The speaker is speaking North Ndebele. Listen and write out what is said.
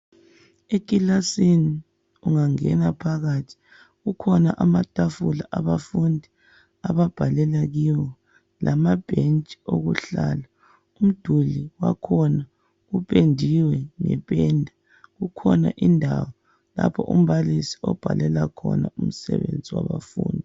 Ekilasini ungangena phakathi kukhona amatafula abafundi ababhalela kiwo lamabhentshi okuhlala, umduli wakhona upendiwe ngependa. Kukhona indawo lapho umbalisi obhalela khona umsebenzi wabafundi.